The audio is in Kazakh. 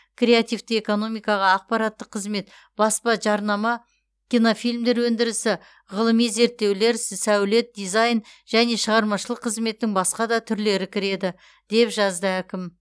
креативті экономикаға ақпараттық қызмет баспа жарнама кинофильмдер өндірісі ғылыми зерттеулер сәулет дизайн және шығармашылық қызметтің басқа да түрлері кіреді деп жазды әкім